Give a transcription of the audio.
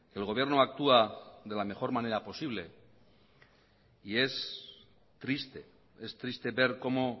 el gobierno actúa de la mejor manera posible y es triste ver cómo